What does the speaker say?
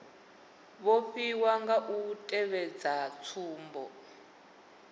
vhofhiwa nga u tevhedza tsumbo